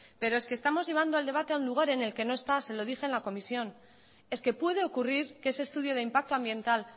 pero es que estamos llevando al debate a un lugar en el que no está se lo dije en la comisión es que puede ocurrir que ese estudio de impacto ambiental